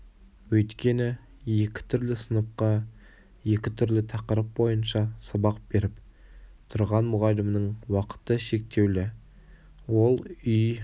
өйткені екі түрлі сыныпқа екі түрлі тақырып бойынша сабақ беріп тұрған мұғалімнің уақыты шектеулі ол үй